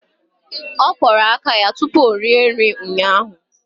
Ọ kwọrọ aka ya tupu ọ rie nri ụnyaahụ.